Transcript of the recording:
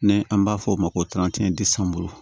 Ni an b'a f'o ma ko